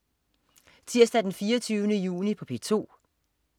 Tirsdag den 24. juni - P2: